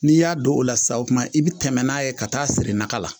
N'i y'a don o la sa o tuma i bɛ tɛmɛ n'a ye ka taa siri naga la